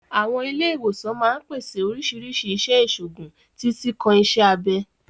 Àwọn ilé ìwòsàn máa ń pèsè oríṣiríṣi iṣẹ́ ìṣègùn, títí kan iṣẹ́ abẹ.